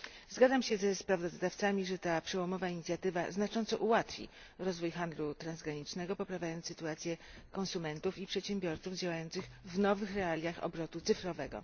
Zgadzam się ze sprawozdawcami, że ta przełomowa inicjatywa znacząco ułatwi rozwój handlu transgranicznego, poprawiając sytuację konsumentów i przedsiębiorców działających w nowych realiach obrotu cyfrowego.